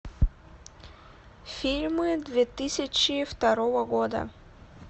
фильмы две тысячи второго года